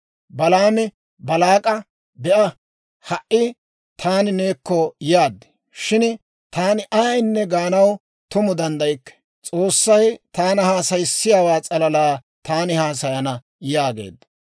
Balaami Baalaak'a, «Be'a, ha"i taani neekko yaad; shin taani ayaanne gaanaw tumu danddaykke. S'oossay taana haasayissiyaawaa s'alalaa taani haasayana» yaageedda.